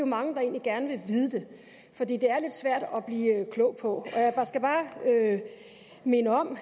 mange der egentlig gerne vil vide det fordi det er lidt svært at blive klog på og jeg skal bare minde om